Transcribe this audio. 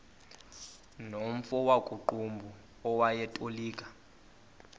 nomfo wakuqumbu owayetolika